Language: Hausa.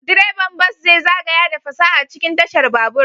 Direban bas zai zagaya da fasaha cikin tashar babur.